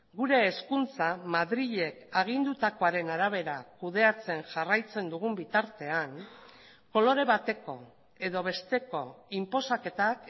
gure hezkuntza madrilek agindutakoaren arabera kudeatzen jarraitzen dugun bitartean kolore bateko edo besteko inposaketak